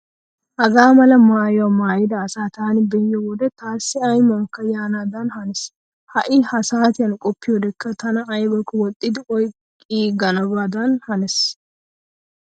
Hagaa mala maayyuwaa maayida asaa taani be'iyo wode taassi aymuwankka yaanaadan hanees. Ha"I ha saatiyan qoppiyodekka tana aybakko woxxidi oyqqiiganabadan hanees.